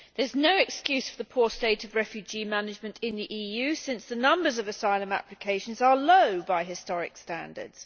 There is no excuse for the poor state of refugee management in the EU, since the numbers of asylum applications are low by historical standards.